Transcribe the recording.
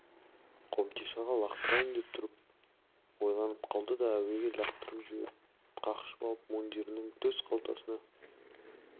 қобдишаға лақтырайын деп тұрып ойланып қалды да әуеге лақтырып жіберіп қақшып алып мундирінің төс қалтасына